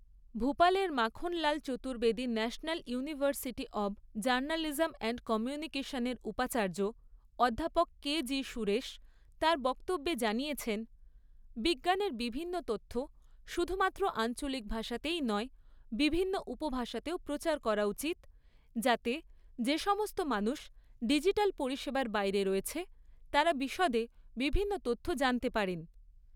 ভূপালের Makhanlal Chaturvedi national university of journalism and কমিউনিকেশনের উপাচার্য অধ্যাপক কে জি সুরেশ তাঁর বক্তব্যে জানিয়েছেন, বিজ্ঞানের বিভিন্ন তথ্য শুধুমাত্র আঞ্চলিক ভাষাতেই নয় বিভিন্ন উপভাষাতেও প্রচার করা উচিত, যাতে যে সমস্ত মানুষ ডিজিটাল পরিষেবার বাইরে রয়েছে, তারা বিশদে বিভিন্ন তথ্য জানতে পারেন।